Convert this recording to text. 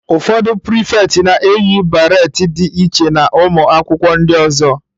Ụfọdụ Pirifeti na-eyi beret dị iche na ụmụ akwụkwọ ndị ọzọ.